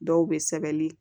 Dɔw bɛ sɛbɛnni